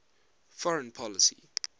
foreign policy